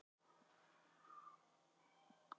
Gengið er frjálst.